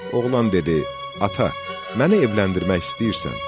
Oğlan dedi: Ata, məni evləndirmək istəyirsən?